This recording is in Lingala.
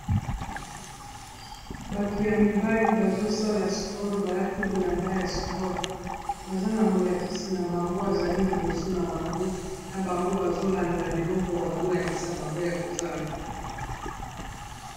Bato ya mibali bazosala sport balati bilamba ya sport baza na molakisi na bango azali liboso na bango na bango bazolanda biloko azolakisa bango ya kosala.